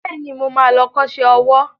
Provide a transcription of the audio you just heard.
Bẹ́ẹ̀ni, mo ma lọ kọ́ṣẹ́ owó